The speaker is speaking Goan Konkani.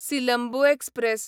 सिलंबू एक्सप्रॅस